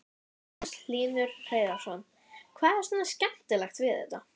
Magnús Hlynur Hreiðarsson: Hvað er svona skemmtilegt við þetta?